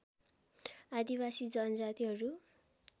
आदिवासी जनजातिहरू